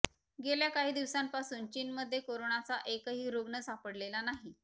गेल्या काही दिवसांपासून चीनमध्ये कोरोनाचा एकही रुग्ण सापडलेला नाही